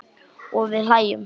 Og við hlæjum.